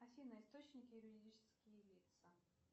афина источники юридические лица